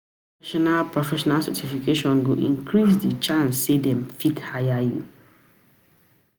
Na professional professional certification go increase the chance say dem fit hire you.